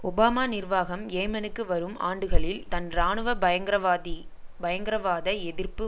Obama நிர்வாகம் ஏமனுக்கு வரும் ஆண்டுகளில் தன் இராணுவ பயங்ரவாதி பயங்ரவாத எதிர்ப்பு